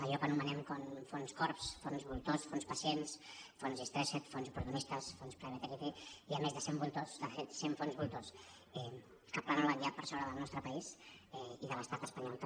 allò que anomenem fons corbs fons voltors fons pacients fons distressed fons oportunistes fons private equity més de cent voltors de fet cent fons voltors que planen ja per sobre del nostre país i de l’estat espanyol també